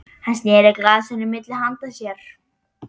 Hann sneri glasinu milli handa sér.